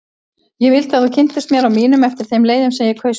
Ég vildi að þú kynntist mér og mínum eftir þeim leiðum sem ég kaus sjálf.